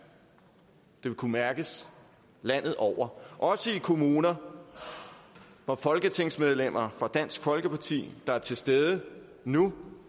det vil kunne mærkes landet over også i kommuner hvor folketingsmedlemmer fra dansk folkeparti der er til stede nu